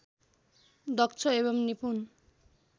दक्ष एवम् निपुण